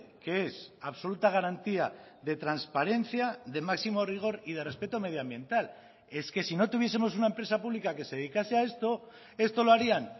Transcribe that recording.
que es absoluta garantía de transparencia de máximo rigor y de respeto medioambiental es que si no tuviesemos una empresa pública que se dedicase a esto esto lo harían